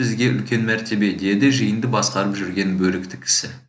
бізге үлкен мәртебе деді жиынды басқарып жүрген бөрікті кісі